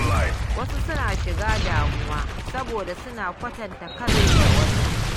Wasu suna shiga damuwa saboda suna kwatanta kansu da wasu.